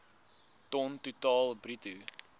ton totaal bruto